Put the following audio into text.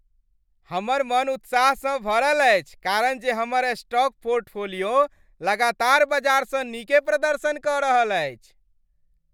हमर मन उत्साहसँ भरल अछि कारण जे हमर स्टॉक पोर्टफोलियो लगातार बजारसँ नीके प्रदर्शन कऽ रहल अछि।